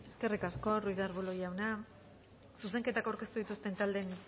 eskerrik asko ruiz de arbulo jauna zuzenketak aurkeztu dituzten taldeen